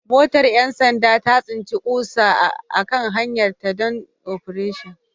Motar 'yan sanda ta tsinci ƙusa a kan hanyarta don Operation